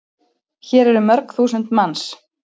Hér eru mörg þúsund manns.